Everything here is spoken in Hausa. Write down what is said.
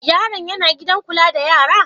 Yaron yana gidan kula da yara?